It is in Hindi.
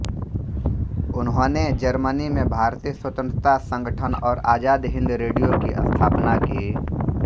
उन्होंने जर्मनी में भारतीय स्वतन्त्रता संगठन और आज़ाद हिन्द रेडियो की स्थापना की